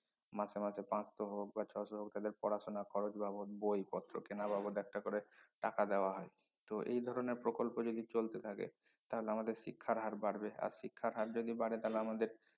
মাসে মাসে পাঁচশ হোক বা ছয়শ হোক এদের পড়াশুনার খরচ বাবদ বই পত্র কেনা বাবদ একটা করে টাকা দেওয়া হয় তো এই ধরনের প্রকল্প যদি চলতে থাকে তাহলে আমাদের শিক্ষার হার বাড়বে আর শিক্ষার হার যদি বাড়ে তাহলে আমাদের